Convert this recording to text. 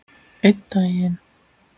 Einn daginn?